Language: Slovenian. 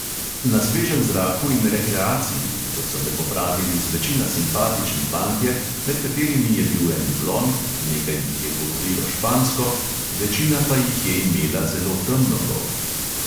Na svežem zraku in rekreaciji, kot so me popravili zvečina simpatični fantje, med katerimi je bil en blond, nekaj jih je govorilo špansko, večina pa je imela zelo temno polt.